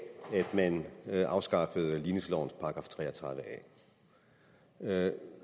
man afskaffede ligningslovens § tre og tredive a